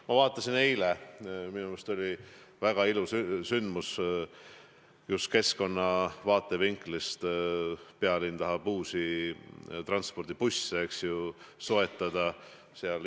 Ma vaatasin, eile oli minu meelest väga ilus sündmus, just keskkonna vaatevinklist: pealinn tahab uusi gaasibusse soetada.